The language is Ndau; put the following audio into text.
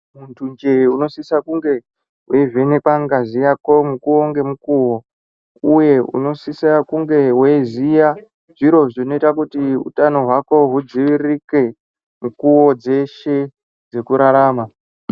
Muntunje unosise kunge weivhenekwe ngazi yako mukuwo ngemukuwo uye unosisira kunge weiziya zviro zvinoita kuti utano hwako hudziiririke, mikuwo dzeshe dzekurarama.